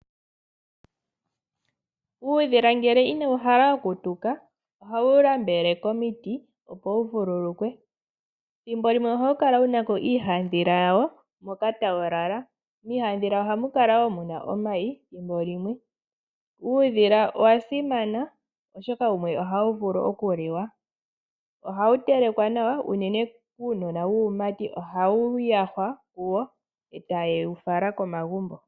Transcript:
Uudhila ngele inawu hala oku tuka ohawu nambele komiti opo wu vululukwe. Thimbo limwe ohawu kala wuna ko iihandhila yawo moka tawu lala. Miihandhila ohamu kala wo muna omayi thimbo limwe. Uudhila owa simana oshoka wumwe ohawu vulu oku li wa. Ohawu telekwa nawa uunene kuunona wuumati ohawu yahwa kuwo etaye wu fala komagumbo.